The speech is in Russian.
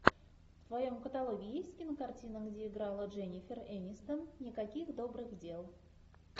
в твоем каталоге есть кинокартина где играла дженнифер энистон никаких добрых дел